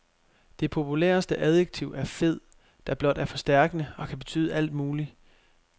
Det populæreste adjektiv er fed, der blot er forstærkende og kan betyde alt muligt.